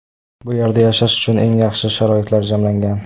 Bu yerda yashash uchun eng yaxshi sharoitlar jamlangan.